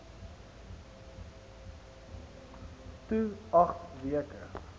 to agt weke